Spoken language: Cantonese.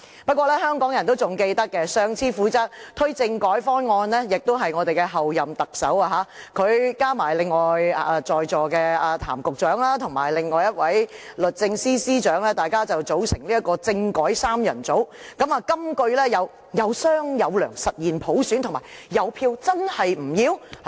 不過，香港人仍記得，上次負責推動政改方案的官員也是候任特首，她加上另外在席的譚局長和律政司司長，大家組成政改三人組，金句有："有商有量，實現普選"和"有票，真是不要？